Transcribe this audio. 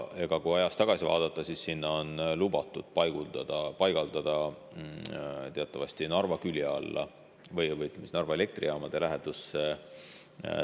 Kui ajas tagasi vaadata, siis on neid lubatud paigaldada teatavasti Narva külje alla või Narva Elektrijaamade lähedusse.